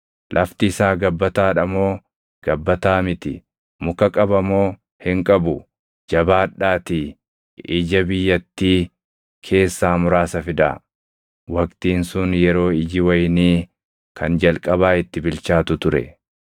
Lafti isaa gabbataa dha moo gabbataa miti? Muka qaba moo hin qabu. Jabaadhaatii ija biyyattii keessaa muraasa fidaa.” Waqtiin sun yeroo iji wayinii kan jalqabaa itti bilchaatu ture.